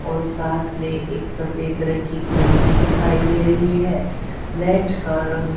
और साथ में एक सफेद रंग की घड़ी भी दिखाइ दे रही है मैट का रंग--